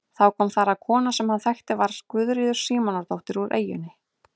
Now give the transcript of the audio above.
Þá kom þar að kona sem hann þekkti að var Guðríður Símonardóttir úr eyjunni.